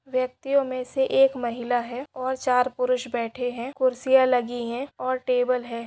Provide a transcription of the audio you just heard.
व्यक्तियों मे से एक महिला है और चार पुरुष बैठे है कुर्सिया लगी है और टेबल है।